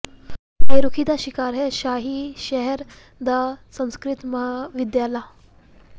ਬੇਰੁਖ਼ੀ ਦਾ ਸ਼ਿਕਾਰ ਹੈ ਸ਼ਾਹੀ ਸ਼ਹਿਰ ਦਾ ਸੰਸਕ੍ਰਿਤ ਮਹਾਵਿਦਿਆਲਾ